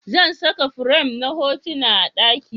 Zan saka firam na hotuna a daki